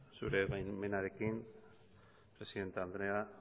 zure baimenarekin presidente andrea